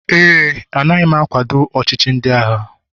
éè, anaghị m akwado ọchịchị ndị agha